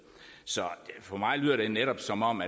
så for mig lyder det netop som om